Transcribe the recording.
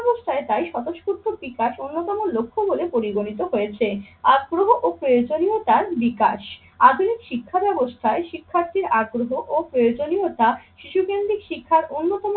ব্যাবস্থায় তাই স্বতঃস্ফূর্ত বিকাশ অন্যতম লক্ষ্য বলে পরিগণিত হয়েছে। আগ্রহ ও প্রয়োজনীয়তার বিকাশ, আধুনিক শিক্ষা ব্যাবস্থায় শিক্ষার্থীর আগ্রহ ও প্রয়োজনীয়তা শিশু কেন্দ্রিক শিক্ষার অন্যতম